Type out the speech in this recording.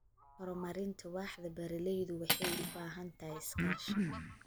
Horumarinta waaxda beeralaydu waxay u baahan tahay iskaashi.